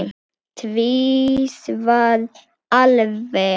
Tvisvar alveg.